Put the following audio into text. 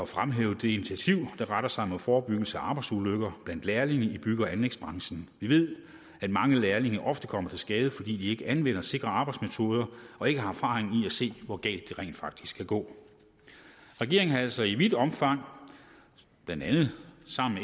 fremhæve det initiativ der retter sig mod forebyggelse af arbejdsulykker blandt lærlinge i bygge og anlægsbranchen vi ved at mange lærlinge ofte kommer til skade fordi de ikke anvender sikre arbejdsmetoder og ikke har erfaring i at se hvor galt det rent faktisk kan gå regeringen har altså i vidt omfang blandt andet sammen